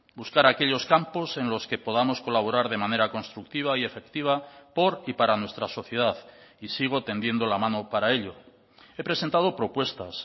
buscar aquellos campos en los que podamos colaborar de manera constructiva y efectiva por y para nuestra sociedad y sigo tendiendo la mano para ello he presentado propuestas